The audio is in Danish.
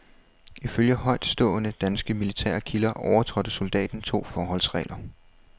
Ifølge højtstående, danske militære kilder overtrådte soldaten to forholdsregler.